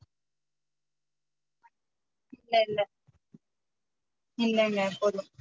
இல்ல இல்ல இல்ல இல்ல போதும்